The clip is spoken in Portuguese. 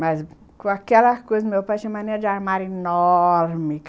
Mas, com aquelas coisas, o meu pai tinha uma mania de armário enorme.